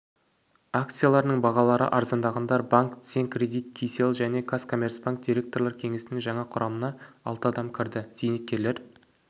акцияларының бағалары арзандағандар банк центркредит кселл және казкоммерцбанк директорлар кеңесінің жаңа құрамына алты адам кірді зейнеткерлер